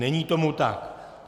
Není tomu tak.